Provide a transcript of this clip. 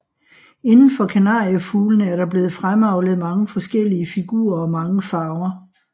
Inden for kanariefuglene er der blevet fremavlet mange forskellige figurer og mange farver